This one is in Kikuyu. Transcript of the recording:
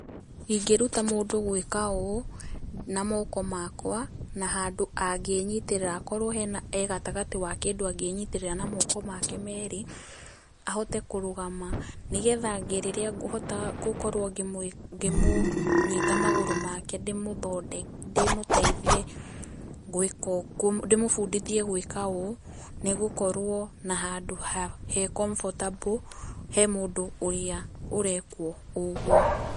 Ingĩruta mũndũ gwĩka ũũ na moko makwa na handũ angĩ nyitĩrĩra akorwo e gatagatĩ ha kĩndũ angĩnyitĩrĩra na moko make meri, ahote kũrũgama. Ni getha ahote rĩrĩa ngũkorwo ngĩmũnyita magũrũ make ndĩmũteithie, ndĩmũbundithie gũĩka ũũ, nĩ gũkorwo na handũ he comfortable he mũndũ ũrĩa ũrekwo ũguo.